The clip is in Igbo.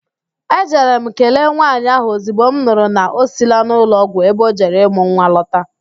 Ejere m kelee nwaanyị ahụ ozigbo m nụrụ na o siila n'ụlọọgwụ ebe o jere mụọ nwa lọta